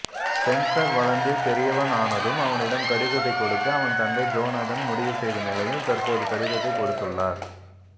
Spencer வளர்ந்து பெரியவனானதும் அவனிடம் கடிதத்தை கொடுக்க அவன் தந்தை ஜோனாதன் முடிவு செய்த நிலையில் தற்போது கடிதத்தை கொடுத்துள்ளார்